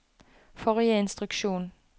forrige instruksjon